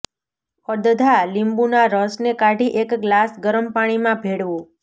અડધા લીંબુ ના રસ ને કાઢી એક ગ્લાસ ગરમ પાણી માં ભેળવો